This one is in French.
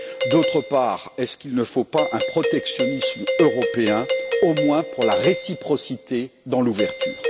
D'autre part, est ce qu'il ne faut pas un protectionnisme européen, au moins pour la réciprocité dans l'ouverture?